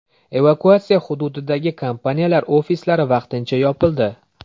Evakuatsiya hududidagi kompaniyalar ofislari vaqtincha yopildi.